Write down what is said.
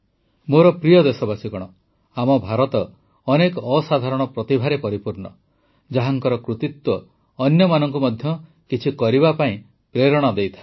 ମୋର ପ୍ରିୟ ଦେଶବାସୀଗଣ ଆମ ଭାରତ ଅନେକ ଅସାଧାରଣ ପ୍ରତିଭାରେ ପରିପୂର୍ଣ୍ଣ ଯାହାଙ୍କର କୃତିତ୍ୱ ଅନ୍ୟମାନଙ୍କୁ ମଧ୍ୟ କିଛି କରିବା ପାଇଁ ପ୍ରେରଣା ଦେଇଥାଏ